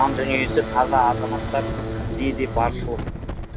жан дүниесі таза азаматтар бізде де баршылық